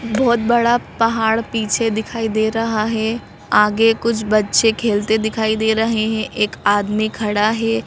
बहुत बड़ा पहाड़ पीछे दिखाई दे रहा है आगे कुछ बच्चे खेलते दिखाई दे रहे हैं एक आदमी खड़ा है।